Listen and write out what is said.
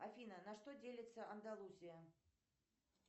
афина на что делится андалузия